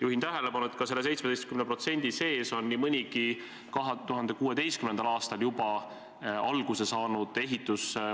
Juhin tähelepanu, et ka selle 17% sees on nii mõnigi juba 2016. aastal alguse saanud ehitus.